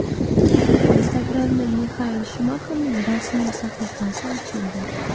Instagram’da Mixael Shumaxerning rasmiy sahifasi ochildi.